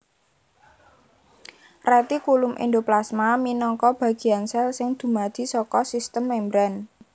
Retikulum Endoplasma minangka bagéan sèl sing dumadi saka sistem membran